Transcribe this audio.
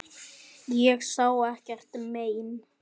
Ég sá ekkert mein.